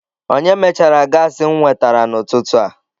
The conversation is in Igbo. Onye mechara gaasị m nwetara n'ututu a?